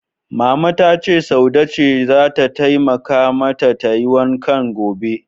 Mama ta ce Saude ce zata taimakawa mata tayi wankan gobe.